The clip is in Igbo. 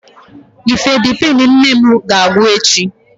Nifedipine nne m a ga-agwụ echi?